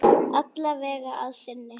Alla vega að sinni.